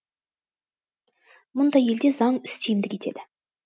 мұндай елде заң үстемдік етеді